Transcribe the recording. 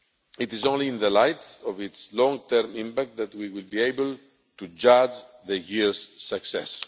It is only in the light of its long term impact that we will be able to judge the year's success.